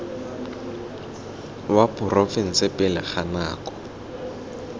wa porofense pele ga nako